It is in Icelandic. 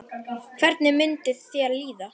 Hvernig myndi þér líða?